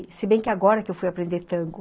E se bem que agora que eu fui aprender tango,